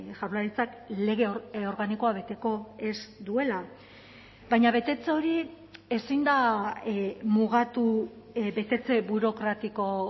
jaurlaritzak lege organikoa beteko ez duela baina betetze hori ezin da mugatu betetze burokratiko